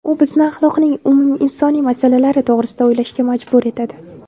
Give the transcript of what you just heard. U bizni axloqning umuminsoniy masalalari to‘g‘risida o‘ylashga majbur etadi.